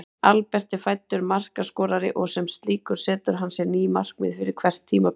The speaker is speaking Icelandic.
Albert er fæddur markaskorari og sem slíkur setur hann sér ný markmið fyrir hvert tímabil.